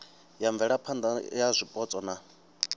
ya mvelaphana ya zwipotso na